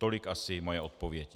Tolik asi moje odpověď.